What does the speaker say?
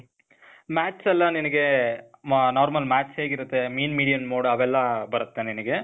math's ಎಲ್ಲ ನಿನಿಗೇ, normal math's ಹೇಗಿರತ್ತೆ mean, median, mode ಅವೆಲ್ಲ ಬರತ್ತೆ ನಿನಿಗೆ.